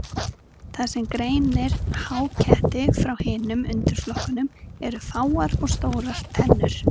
Það sem greinir háketti frá hinum undirflokkunum eru fáar og stórar tennur.